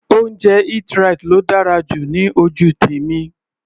Oúnjẹ Eat-right ló dára jù ní ojú tèmi.